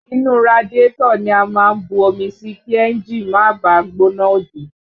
Inú radiátọ̀ ni a máa ń bu omi sí kí ẹ́ńjì má bàá gbóná òdì